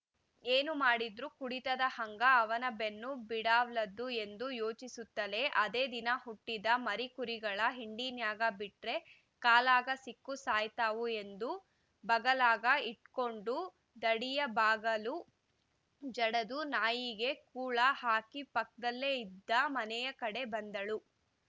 ಏನು ಮಾಡಿದ್ರು ಕುಡಿತದ ಹಂಗ ಅವ್ನ ಬೆನ್ನ ಬಿಡಾವಲ್ದು ಎಂದು ಯೋಚಿಸುತ್ತಲೇ ಅದೆ ದಿನ ಹುಟ್ಟಿದ ಮರಿಕುರಿಗಳ ಹಿಂಡಿನ್ಯಾಗ ಬಿಟ್ರ ಕಾಲಾಗ ಸಿಕ್ಕು ಸಾಯ್ತಾವು ಎಂದು ಬಗಲಾಗ ಇಟ್ಕೊಂಡುದಡ್ಡಿಯ ಬಾಗಲು ಜಡದು ನಾಯಿಗೆ ಕೂಳ ಹಾಕಿಪಕ್ದಲ್ಲೆ ಇದ್ದ ಮನೆಯ ಕಡೆ ಬಂದಳು